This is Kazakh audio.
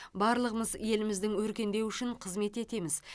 барлығымыз еліміздің өркендеуі үшін қызмет етеміз